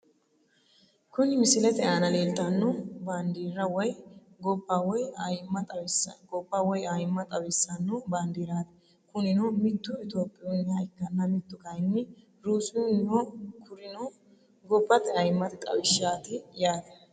Kuni misilete aana leeltano bandirra woyi gobba woyi ayimma xawisano bandiirati kunino mittu etyopiuniha ikkana mittu kayini russiyuniho kurino gobate ayiimate xawishati yaate.